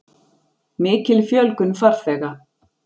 Mikil fjölgun farþega